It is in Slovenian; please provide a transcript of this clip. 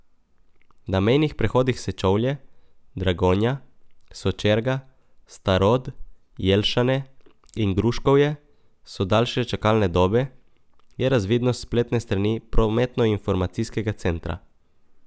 Na mejnih prehodih Sečovlje, Dragonja, Sočerga, Starod, Jelšane in Gruškovje so daljše čakalne dobe, je razvidno s spletne strani prometnoinformacijskega centra.